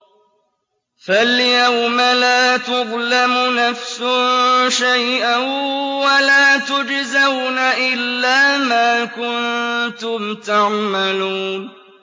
فَالْيَوْمَ لَا تُظْلَمُ نَفْسٌ شَيْئًا وَلَا تُجْزَوْنَ إِلَّا مَا كُنتُمْ تَعْمَلُونَ